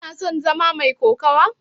Kana son zama mai kokawa?